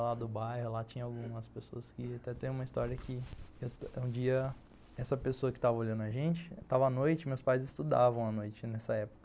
Lá do bairro, lá tinha algumas pessoas que... Até tem uma história que um dia essa pessoa que tava olhando a gente, estava à noite, meus pais estudavam à noite nessa época.